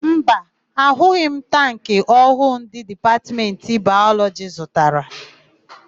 Mba, ahụghị m tankị ọhụụ ndị Dipatmentị Bayọlọjị zụtara.